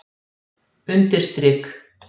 undirstrik